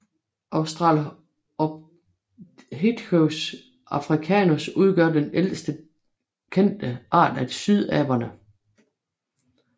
Australopithecus africanus udgør den ældste kendte art af sydaberne